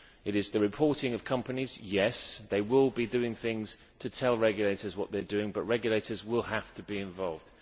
It is the reporting of companies yes, they will be doing things to tell regulators what they are doing, but regulators will have to be involved.